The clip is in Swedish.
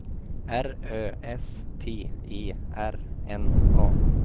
R Ö S T E R N A